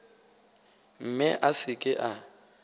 mme a se ke a